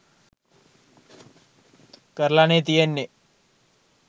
කරලනේ තියෙන්නේ